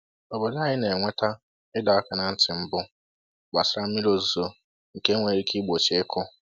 Obodo anyị na-enweta ịdọ aka ná ntị mbụ gbasara mmiri ozuzo nke nwere ike igbochi ịkụ